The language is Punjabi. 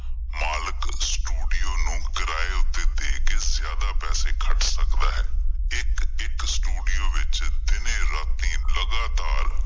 ਮਾਲਕ studio ਨੂੰ ਕਿਰਾਏ ਉੱਤੇ ਦੇ ਕਿ ਜ਼ਿਆਦਾ ਪੈਸੇ ਖੱਟ ਸਕਦਾ ਹੈ, ਇੱਕ ਇੱਕ studio ਵਿੱਚ ਦਿਨੇ ਰਾਤੀ ਲਗਾਤਾਰ